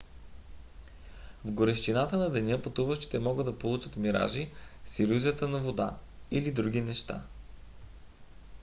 в горещината на деня пътуващите могат да получат миражи с илюзията за вода или други неща